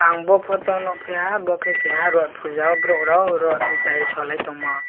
ang bo photo nukphiha bo keha rath puja o borok rao rath nwtai solai tongmo.